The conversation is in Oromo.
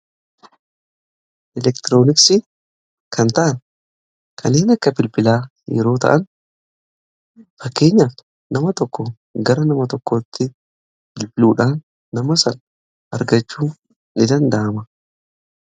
Elektirooniksii kan ta'an kanneen akka bilbilaa yeroo ta'an, fakkeenyaaf nama tokko gara nama tokkootti bilbiluudhaan nama sana argachuun ni danda'ama.